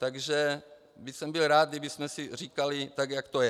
Takže bych byl rád, kdybychom si říkali tak, jak to je.